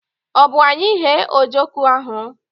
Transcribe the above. Ọ bụ anyị ghee ojoko ahụ?